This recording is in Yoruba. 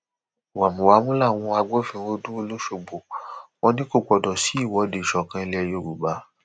wámúwámù làwọn agbófinró dúró lọsọgbó wọn ni kò gbọdọ sí ìwọde ìsọkan ilẹ yorùbá